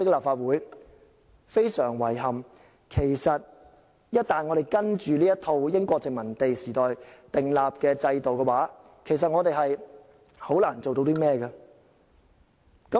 非常遺憾，我們只能遵從這套英國殖民地時代訂立的制度，難以做到甚麼。